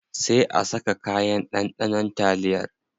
Sai a saka kayan ɗanɗanon taliyar.